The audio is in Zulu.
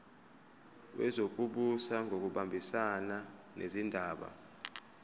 wezokubusa ngokubambisana nezindaba